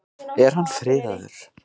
Er hann friðaður?